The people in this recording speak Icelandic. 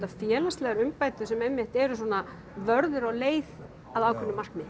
félagslegar umbætur sem einmitt eru svona vörður á leið að ákveðnu markmiði